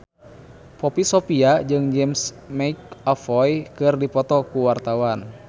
Poppy Sovia jeung James McAvoy keur dipoto ku wartawan